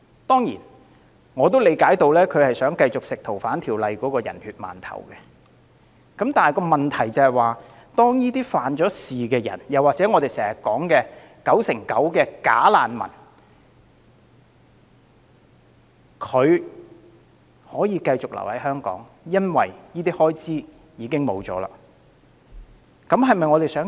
當然，我明白他是想繼續吃《逃犯條例》的"人血饅頭"，但當遞解預算被削，外來罪犯或我們經常提及的 99%" 假難民"便可以繼續留港，這是否我們所樂見？